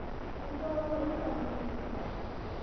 u ṱolwa hu sa gumi